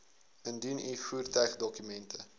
indien u voertuigdokumente